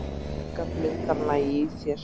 Orka blundar næg í þér.